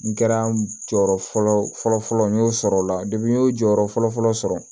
N kɛra jɔyɔrɔ fɔlɔ fɔlɔ n y'o sɔrɔ o la n y'o jɔyɔrɔ fɔlɔ fɔlɔ sɔrɔ